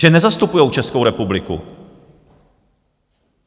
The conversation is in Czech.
Že nezastupujou Českou republiku.